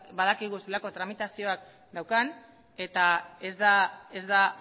badakigu zelako tramitazioak daukan eta ez da